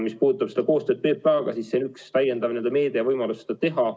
Mis puudutab koostööd PPA-ga, siis see on üks täiendav meede ja võimalus seda teha.